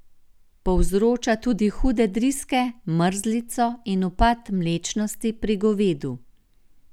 Povzroča tudi hude driske, mrzlico in upad mlečnosti pri govedu.